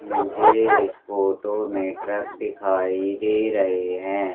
मुझे इस फोटो में ट्रक दिखाई दे रहे है।